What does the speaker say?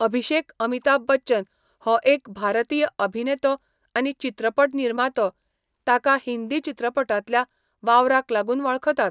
अभिषेक अमिताभ बच्चन हो एक भारतीय अभिनेतो आनी चित्रपट निर्मातो, ताका हिंदी चित्रपटांतल्या वावराक लागून वळखतात.